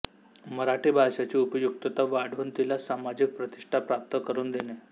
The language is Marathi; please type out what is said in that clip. मराठी भाषेची उपयुक्तता वाढवून तिला सामाजिक प्रतिष्ठा प्राप्त करुन देणे